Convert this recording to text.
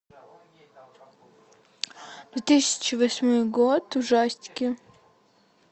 две тысячи восьмой год ужастики